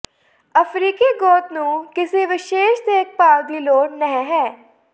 ਅਫ਼ਰੀਕੀ ਗੁੱਤ ਨੂੰ ਕਿਸੇ ਵਿਸ਼ੇਸ਼ ਦੇਖਭਾਲ ਦੀ ਲੋੜ ਨਹ ਹੈ